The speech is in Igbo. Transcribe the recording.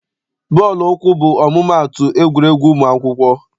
Bọọlụ ụkwụ bụ ọmụmaatụ egwuregwu ụmụ akwụkwọ.